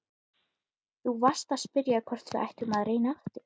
Þú varst að spyrja hvort við ættum að reyna aftur.